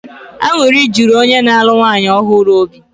Aṅụrị juru onye na-alụ nwanyị ọhụrụ obi.